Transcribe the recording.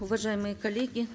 уважаемые коллеги